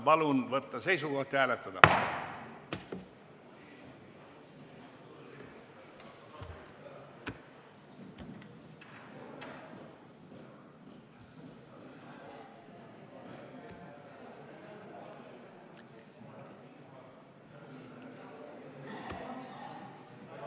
Palun võtta seisukoht ja hääletada!